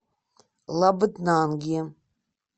лабытнанги